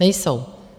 Nejsou.